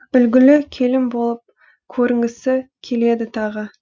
үлгілі келін болып көрінгісі келеді тағы